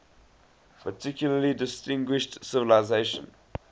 particularly distinguished civilization